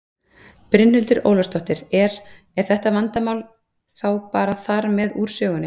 Brynhildur Ólafsdóttir: Er, er þetta vandamál þá bara þar með úr sögunni?